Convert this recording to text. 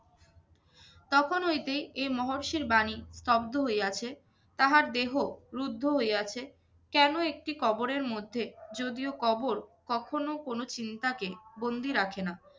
তখন হইতেই এই মহর্ষির বাণী স্তব্ধ হইয়াছে, তাহার দেহ রুদ্ধ হইয়াছে কেনো একটি কবরের মধ্যে। যদিও কবর কখনো কোনো চিন্তাকে বন্দি রাখে না।